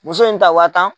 Muso in ta wa tan